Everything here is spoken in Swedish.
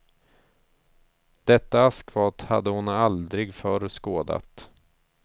Detta askfat hade hon aldrig förr skådat.